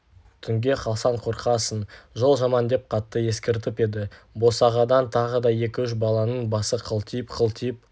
түнге қалсаң қорқасың жол жаман деп қатты ескертіп еді босағадан тағы да екі-үш баланың басы қылтиып-қылтиып